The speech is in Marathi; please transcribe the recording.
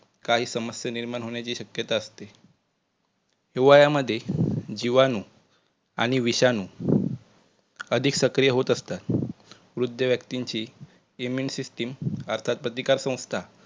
काही समस्या निर्माण होण्याची शक्यता असते. हिवळ्या मध्ये जीवाणु आणि विषाणु अधिक सक्रिय होत असतात. वृद्ध व्यक्तींची immune system अर्थात प्रतिकार संस्था